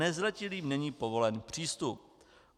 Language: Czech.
Nezletilým není povolen přístup.